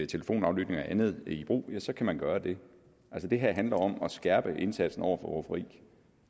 telefonaflytninger og andet i brug ja så kan man gøre det altså det her handler om at skærpe indsatsen over for rufferi